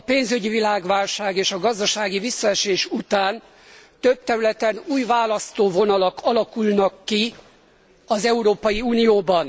A pénzügyi világválság és a gazdasági visszaesés után több területen új választóvonalak alakulnak ki az Európai Unióban.